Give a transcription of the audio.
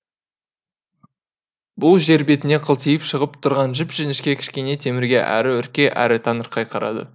бұл жер бетіне қылтиып шығып тұрған жіп жіңішке кішкене темірге әрі үрке әрі таңырқай қарады